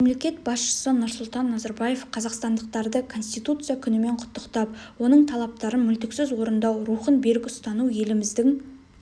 мемлекет басшысы нұрсұлтан назарбаев қазақстандықтарды конституция күнімен құттықтап оның талаптарын мүлтіксіз орындау рухын берік ұстану еліміздің